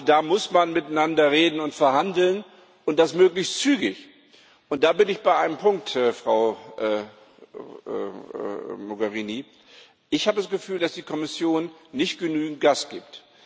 Da muss man miteinander reden und verhandeln, und das möglichst zügig. Da bin ich bei einem Punkt, Frau Mogherini Ich habe das Gefühl, dass die Kommission nicht genügend Gas gibt.